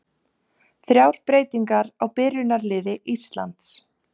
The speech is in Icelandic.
Þrjár breytingar á byrjunarliði Íslands